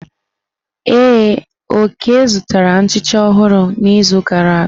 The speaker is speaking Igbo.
Ee, Oke zụtara nchicha ọhụrụ n'izu gara aga.